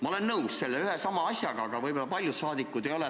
Ma olen nõus selle asjaga, aga võib-olla paljud saadikud ei ole.